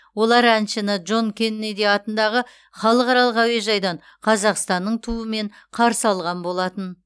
олар әншіні джон кеннеди атындағы халықаралық әуежайдан қазақстанның туымен қарсы алған болатын